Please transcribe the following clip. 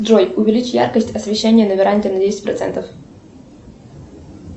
джой увеличь яркость освещения на веранде на десять процентов